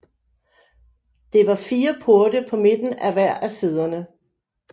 Det var fire porte på midten af hver af siderne